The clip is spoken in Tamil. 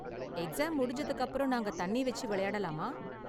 எக்ஸாம் முடிஞ்சதுக்கு அப்பறம் நாங்க தண்ணி வெச்சு விளையாடலாமா?